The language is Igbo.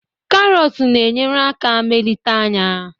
karots na-enyere aka melite anya